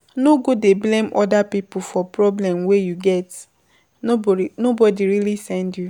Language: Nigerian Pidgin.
No go dey blame oda pipo for problem wey you get, nobody really send you